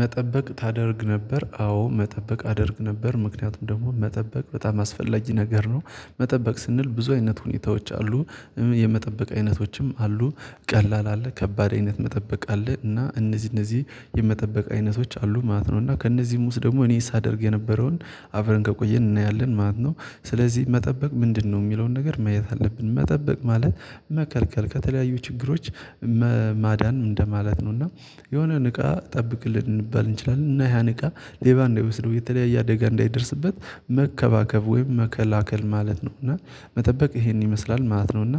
መጠበቅ ታደርግ ነበር አዎ መጠበቅ አደርግ ነበር ምክንያቱም ደግሞ መጠበቅ በጣም አስፈላጊ ነገር ነው። መጠበቅ ስንል ብዙ አይነት ሁኔታዎች አሉ የመጠበቅ አይነቶችም አሉ ቀላል አለ ከባድ አይነት መጠበቅ አለ እና እነዚህ እነዚህ የመጠበቅ አይነቶች አሉ ማለት ነው እና ከእነዚህም ውስጥ ደግሞ እኔ ሳደርግ የነበረውን አብረን ከቆየን እናያለን ማለት ነው። ስለዚህ መጠበቅ ምንድነው የሚለውን ነገር ማየት አለብን። መጠበቅ ማለት መከልከል ከተለያዩ ችግሮች ማዳን እንደማለት ነው። እና የሆነ ንቃ ጠብቅልን ልንባል እንችላለን እና ያ ንቃ ሌባ እንዳይወስደው የተለያየ አደጋ እንዳይደርስበት መንከባከብ ወይም መከላከል ማለት ነው። እና መጠበቅ ይሄን ይመስላል ማለት ነው። እና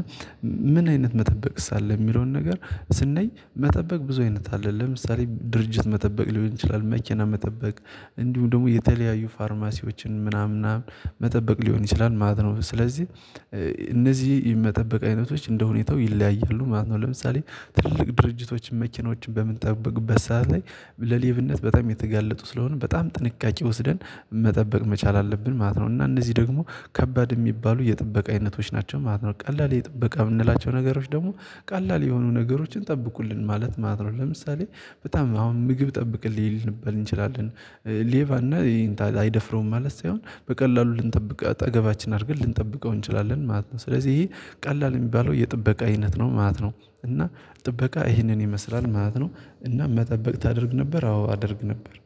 ምን አይነት መጠበቅስ አለ የሚለውን ነገር ስንል መጠበቅ ብዙ አይነት አለ ለምሳሌ ድርጅት መጠበቅ ሊሆን ይችላል። መኪና መጠበቅ እንዲሁ ደግሞ የተለያዩ ፋርማሲዎችን ምናምን ምናምን መጠበቅ ሊሆን ይችላል ማለት ነው። ስለዚህ እነዚህ የመጠበቅ አይነቶች እንደሁኔታው ይለያያሉ ማለት ነው። ለምሳሌ ትልቅ ድርጅቶችን መኪኖችን በምንጠብቅበት ሰዓት ላይ ለሌብነት በጣም የተጋለጡ ስለሆነ በጣም ጥንቃቄ ወስደን መጠበቅ መቻል አለብን ማለት ነው። እና እነዚህ ደግሞ ከባድ የሚባሉ የጥበቃ አይነቶች ናቸው ማለት ነው። ቀላል የጥበቃ የምንላቸው ነገሮች ደግሞ ቀላል የሆኑ ነገሮችን ጠብቁልን ማለት ማለት ነው። ለምሳሌ በጣም አሁን ምግብ ጠብቅልኝ ልንበል እንችላለን ሌባ እና አይደፍረውም ማለት ሳይሆን በቀላሉ ልንጠብቅ አጠገባችን አድርገን ልንጠብቀው እንችላለን ማለት ነው። ስለዚህ ይሄ ቀላል የሚባለው የጥበቃ አይነት ነው ማለት ነው። እና ጥበቃ ይህንን ይመስላል ማለት ነው። እና መጠበቅ ታደርግ ነበር አዎ አደርግ ነበር